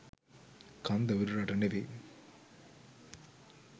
කන්ද උඩරට නෙවෙයි